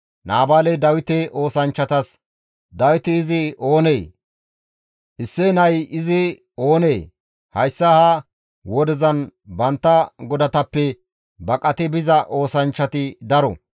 Naabaaley Dawite oosanchchatas, «Dawiti izi oonee? Isseye nay izi oonee? Hayssa ha wodezan bantta godatappe baqati biza oosanchchati daro.